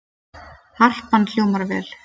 Harpan hljómar vel